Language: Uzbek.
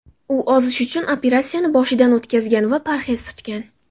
U ozish uchun operatsiyani boshidan o‘tkazgan va parhez tutgan.